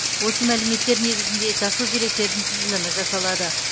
осы мәліметтер негізінде жасыл желектердің тізілімі жасалады